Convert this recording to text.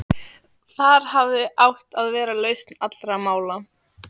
Þar hafði átt að vera lausn allra mála.